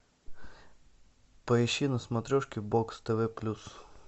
поищи на смотрешке бокс тв плюс